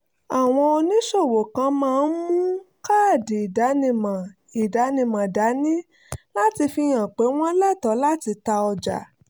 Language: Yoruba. àwọn oníṣòwò kan máa ń mú káàdì ìdánimọ̀ ìdánimọ̀ dání láti fi hàn pé wọ́n lẹ́tọ̀ọ́ láti ta ọjà